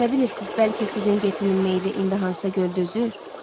Nə bilirsiz, bəlkə sizin getinin meydi indi hansısa göldə üzür?